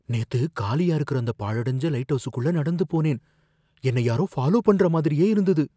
நேத்து, காலியா இருக்கிற அந்த பாழடஞ்ச லைட்ஹவுஸுகுள்ள நடந்து போனேன், என்னை யாரோ ஃபாலோ பண்ற மாதிரியே இருந்தது.